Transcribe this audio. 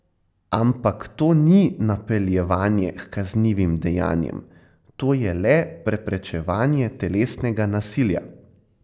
Ampak to ni napeljevanje h kaznivim dejanjem, to je le preprečevanje telesnega nasilja.